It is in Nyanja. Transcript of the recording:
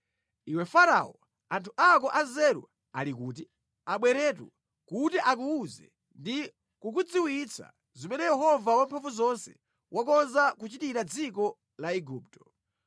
Iwe Farao, anthu ako anzeru ali kuti? Abweretu kuti akuwuze ndi kukudziwitsa zimene Yehova Wamphamvuzonse wakonza kuchitira dziko la Igupto.